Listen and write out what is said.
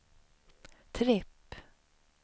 tripp